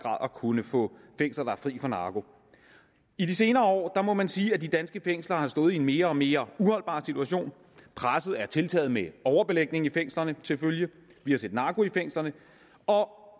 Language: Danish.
at kunne få fængsler der er fri for narko i de senere år må man sige at de danske fængsler har stået i en mere og mere uholdbar situation presset er tiltaget med overbelægning i fængslerne til følge vi har set narko i fængslerne og